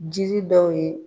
Jiri dɔw ye.